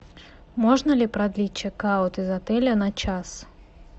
можно ли продлить чекаут из отеля на час